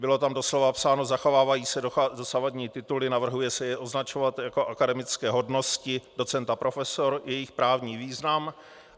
Bylo tam doslova napsáno "zachovávají se dosavadní tituly, navrhuje se je označovat jako akademické hodnosti docent a profesor, jejich právní význam".